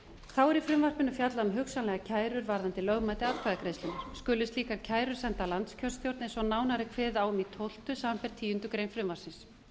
þá er í frumvarpinu fjallað um hugsanlega kæru varðandi lögmæti atkvæðagreiðslunnar skulu slíkar kærur sendar landskjörstjórn eins og nánar er kveðið á um í tólfta samanber tíundu greinar frumvarpsins